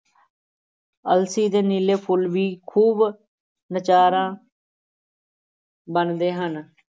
ਅਲਸੀ ਦੇ ਨੀਲੇ ਫੁੱਲ ਵੀ ਖ਼ੂਬ ਨਜ਼ਾਰਾ ਬੰਨ੍ਹਦੇ ਹਨ।